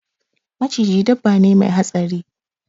Maciji dabba ne Mai hatsari.